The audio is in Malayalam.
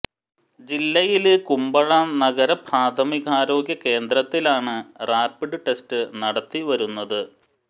ജില്ലയില് കുമ്ബഴ നഗര പ്രാഥമികാരോഗ്യ കേന്ദ്രത്തിലാണ് റാപിഡ് ടെസ്റ്റ് നടത്തി വരുന്നത്